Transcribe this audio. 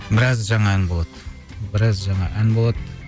біраз жаңа ән болады біраз жаңа ән болады